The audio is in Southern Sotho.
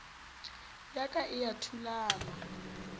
ya ka e a thulama